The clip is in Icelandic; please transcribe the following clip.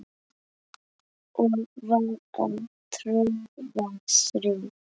og var að troða strý